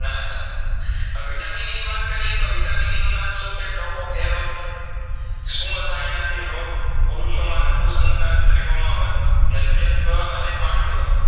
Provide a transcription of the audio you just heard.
અ Vitamin E ની વાત કરીયે તો Vitamin E નું નામ શુંછે Tocopherol શું થાય એનાથી રોગ? પુરુષોમાં નપુંસકતા સ્ત્રીઓમાં વન ઝંજહત્વ અને પાંડુરોગ